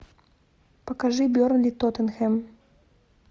покажи бернли тоттенхэм